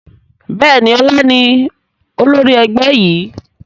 Bẹ́ẹ̀ni, ọlá ni olórí ẹgbẹ́ yìí.